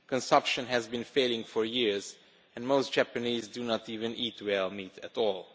Consumption has been falling for years, and most Japanese do not even eat whale meat at all.